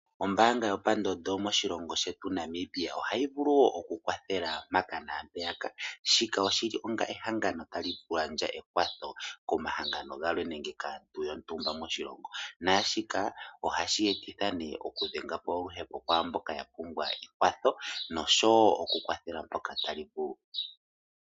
Ombaanga yopandondo moshilongo shetu Namibia ohayi vulu wo okukwathela mpaka naampeyaka. Shika oshi li onga ehangano tali gandja ekwatho komahangano galwe nenge kaantu yontumba moshilongo Naashika ohashi etitha nee okudhenga po oluhepo pwaa mboka ya pumbwa ekwatho nosho wo okukwathela mpoka tali vulu.